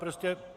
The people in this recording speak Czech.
Jistě.